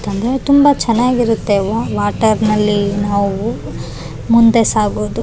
Boating ಅಂದರೆನೆ ತುಂಬಾ ಜನಕ ತುಂಬಾ ಭಯ ಇರುತ್ತೆ ಆದರೆ ಇನ್ನ ಕೆಲವರಿಗೆ ಬೋಟಿಂಗ್ ಅಂದರೆನೆ ಪ್ರಾಣ ಕೂಡ ಆಗಿರಬಹುದು.